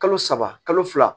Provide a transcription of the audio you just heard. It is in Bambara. Kalo saba kalo fila